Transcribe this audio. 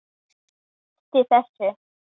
Ég hætti þessu.